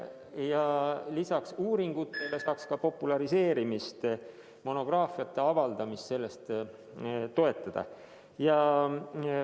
Ja lisaks uuringutele saaks ka teaduse populariseerimist ning monograafiate avaldamist sellest toetada.